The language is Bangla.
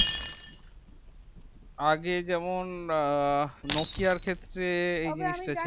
আগে যেমন নোকিয়া র ক্ষেত্রে এই জিনিস তা ছিল